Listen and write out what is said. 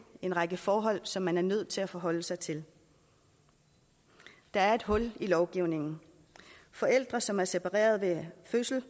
en række forhold som man er nødt til at forholde sig til der er et hul i lovgivningen forældre som er separeret ved fødslen af